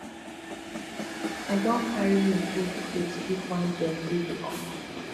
i don carry my old clothes give one girl wey be orphan